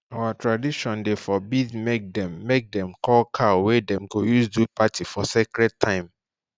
our tradition dey forbid make them make them koll cow wey dem go use do party for scared time